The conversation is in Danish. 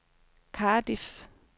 Cardiff